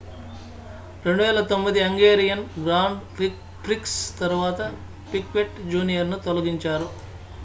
2009 Hungarian grand prix తరువాత Piquet junior ను తొలగించారు